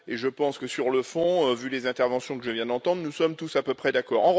Je pense que sur le fond, vu les interventions que je viens d'entendre, nous sommes tous à peu près d'accord.